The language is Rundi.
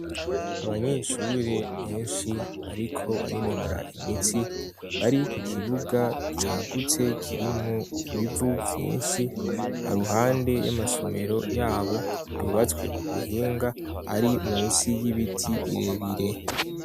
Abanyeshure benshi bariko barinonora imitsi bari ku kibuga cagutse kiri mubivu vyinshi haruhande y'amasomero yabo yubatswe ku buhinga ari munsi y'ibiti birebire.